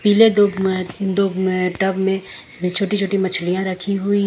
Tub में छोटी छोटी मछलियां रखी हुई है।